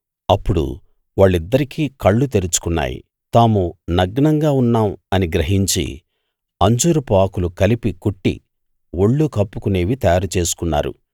అప్పుడు వాళ్ళిద్దరికీ కళ్ళు తెరుచుకున్నాయి తాము నగ్నంగా ఉన్నాం అని గ్రహించి అంజూరపు ఆకులు కలిపి కుట్టి ఒళ్ళు కప్పుకునేవి తయారు చేసుకున్నారు